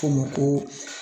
K'o ma ko